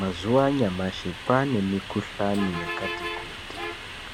Mazuva anyamashi kwaanemikuhlani yakati kuti